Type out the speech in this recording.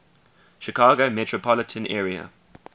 chicago metropolitan area